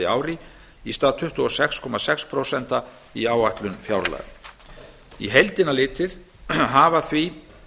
ári í stað tuttugu og sex komma sex prósent í áætlun fjárlaga á heildina litið hafa því